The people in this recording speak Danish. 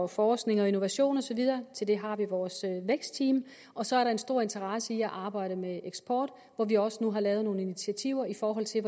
forskning innovation og så videre til det har vi vores vækstteam og så er der en stor interesse for at arbejde med eksport hvor vi også nu har taget nogle initiativer i forhold til